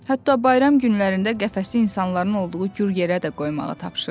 Hətta bayram günlərində qəfəsi insanların olduğu gür yerə də qoymağı tapşırır.